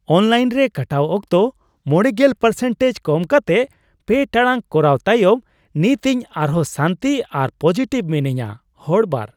Online ᱨᱮ ᱠᱟᱴᱟᱣ ᱚᱠᱛᱚ ᱕᱐% ᱠᱚᱢ ᱠᱟᱛᱮᱜ ᱓ ᱴᱟᱲᱟᱝ ᱠᱚᱨᱟᱣ ᱛᱟᱭᱚᱢ ᱱᱤᱛ ᱤᱧ ᱟᱨᱦᱚᱸ ᱥᱟᱱᱛᱤ ᱟᱨ ᱯᱚᱡᱤᱴᱤᱵᱷ ᱢᱤᱱᱟᱹᱧᱟ ᱾ (ᱦᱚᱲ ᱒)